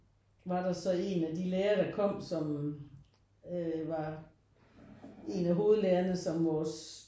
Var der så en af de lærer der kom som øh var en af hovedlærerne som vores